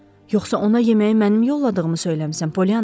Yoxsa ona yeməyi mənim yolladığımı söyləmisən, Polyana?